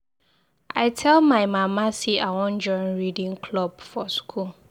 I tell my mama say I wan join reading club for school.